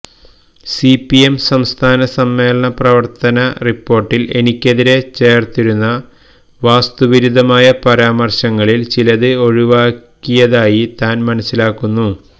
CPM സംസ്ഥാന സമ്മേളന പ്രവര്ത്തന റിപ്പോര്ട്ടില് എനിക്കെതിരെ ചേര്ത്തിരുന്ന വാസ്തവിരുദ്ധമായ പരാമര്ശങ്ങളില് ചിലത് ഒഴിവാക്കിയതായി താന് മനസ്സിലാക്കുന്നു